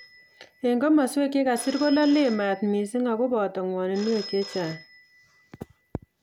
En komaswek che kasir kololen maat missing ako boto ngw'oninwek chechang